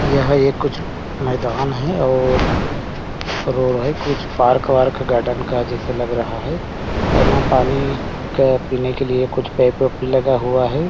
यह एक कुछ मैदान है और रोड है कुछ पार्क वार्क गार्डन का जैसे लग रहा है और यहाँ पानी का पीने के लिए कुछ पाइप वाइप भी लगा हुआ है।